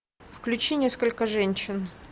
включи несколько женщин